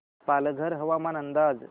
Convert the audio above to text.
पालघर हवामान अंदाज